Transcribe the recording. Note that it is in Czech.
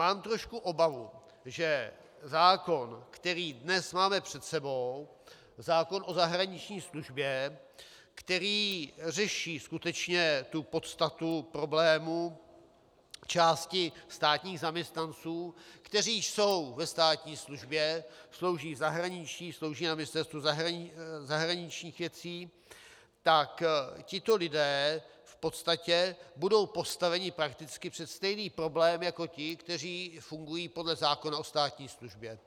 Mám trošku obavu, že zákon, který dnes máme před sebou, zákon o zahraniční službě, který řeší skutečně tu podstatu problémů části státních zaměstnanců, kteří jsou ve státní službě, slouží v zahraničí, slouží na Ministerstvu zahraničních věcí, tak tito lidé v podstatě budou postaveni prakticky před stejný problém jako ti, kteří fungují podle zákona o státní službě,